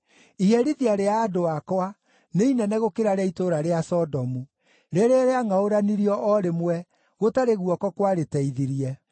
Iherithia rĩa andũ akwa nĩ inene gũkĩra rĩa itũũra rĩa Sodomu, rĩrĩa rĩangʼaũranirio o rĩmwe, gũtarĩ guoko kwarĩteithirie.